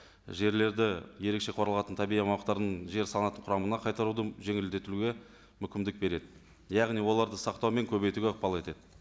жерлерді ерекше қорғалатын табиғи аумақтардың жер санатының құрамына қайтаруды жеңілдетуге мүмкіндік береді яғни оларды сақтау мен көбейтуге ықпал етеді